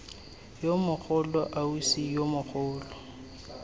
yo mogolo ausi yo mogolo